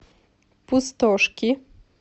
пустошки